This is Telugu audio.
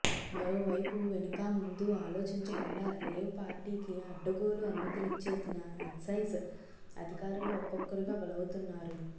మరోవైపు వెనుకా ముందూ ఆలోచించకుండా రేవ్ పార్టీకి అడ్డగోలు అనుమతిలిచ్చేసిన ఎక్సైజ్ అధికారులు ఒక్కొక్కరుగా బలవుతున్నారు